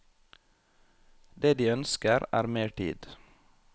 Det de ønsker er mer tid.